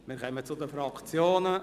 Wir kommen zu den Fraktionsvoten.